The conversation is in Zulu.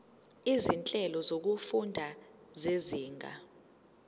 izinhlelo zokufunda zezinga